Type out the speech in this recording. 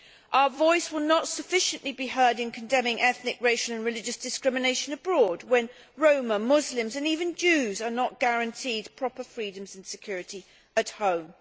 Our voice will not be heard sufficiently in condemning ethnic, racial and religious discrimination abroad when Roma, Muslims and even Jews are not guaranteed proper freedoms and security at home.